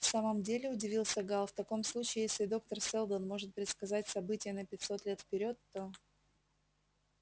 в самом деле удивился гаал в таком случае если доктор сэлдон может предсказать события на пятьсот лет вперёд то